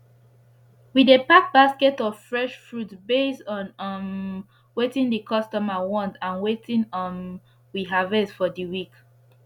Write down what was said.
we dey pack basket of fresh food base on um wetin d customer want and wetin um we harvest for d week